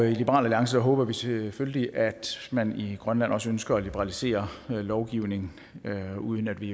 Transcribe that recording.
i liberal alliance håber vi selvfølgelig at man i grønland også ønsker at liberalisere lovgivningen uden at vi